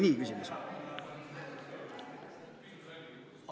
Oli küsimus nii või?